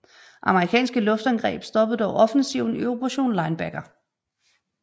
Amerikanske luftangreb stoppede dog offensiven i Operation Linebacker